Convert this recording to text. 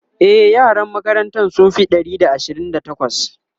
e yaran makarantan sun Fi Ɗari da Ashirin da takwas